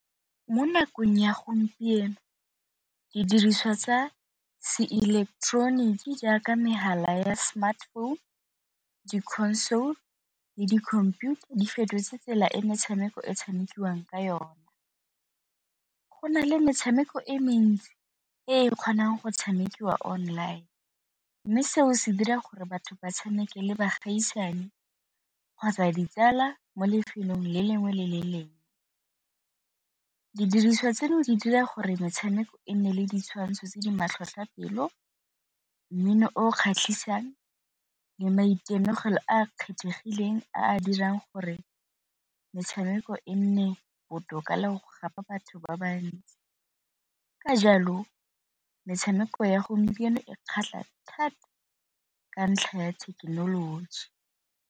Mo nakong ya gompieno didiriswa tsa se ileketeroniki jaaka mehala ya smart phone, di-console le di-computer di fetotse tsela e metshameko e tshamekiwang ka yone. Go na le metshameko e mentsi e kgonang go tshamekiwa online mme seo se dira gore batho ba tshameke le baagisane kgotsa ditsala mo lefelong le lengwe le le lengwe, didiriswa tseno di dira gore metshameko e nne le ditshwantsho tse di matlhotlhotlhapelo, mmino o kgatlhisang le maitemogelo a kgethegileng a a dirang gore metshameko e nne botoka le go gapa batho ba bantsi, ka jalo metshameko ya gompieno e kgatlha thata ka ntlha ya thekenoloji.